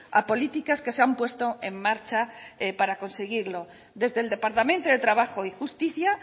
a políticas que se han puesto en marcha para conseguirlo desde el departamento de trabajo y justicia